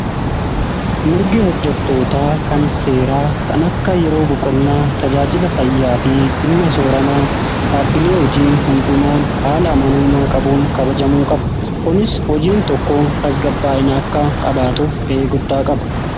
Mirgi hojjetootaa kan seeraa kan akka yeroo boqonnaa tajaajila fayyaa fi dhimma sooramaa dhaabbilee hojii hundumaan haala amanamummaa qabuun kabajamuu qaba kunis hojiin tokko tasgabaa'ina akka qabaatuuf ga'ee guddaa qaba.